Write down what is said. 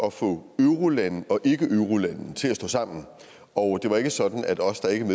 at få eurolande og ikkeeurolande til at stå sammen og det var ikke sådan at os der ikke er